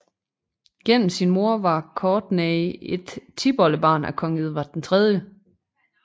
Gennem sin mor var Courtenay et tipoldebarn af kong Edvard 3